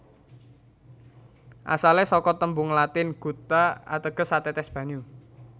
Asale saka tembung Latin gutta ateges satetes banyu